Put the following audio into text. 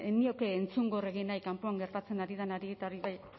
nioke entzungo nahi kanpoan gertatzen ari denari eta hori bai